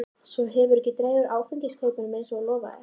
Svo hefurðu ekki dregið úr áfengiskaupunum eins og þú lofaðir.